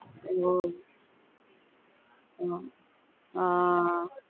ஆஹ் உம் ஆஹ்